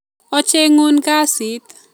Ochengun kasit